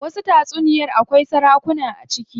Wasu tatsuniyar akwai sarakuna a ciki.